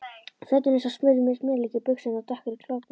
Fötin eins og smurð með smjörlíki, buxurnar dökkar í klofbótina.